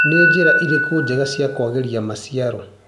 Nĩ njĩta irĩkũ njega cia kwagĩria maciaro.